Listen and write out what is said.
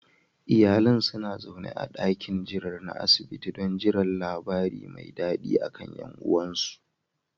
Iyalan suna zaune a dakin jiran na asibiti don jiran labari me dadi akan yan uwansu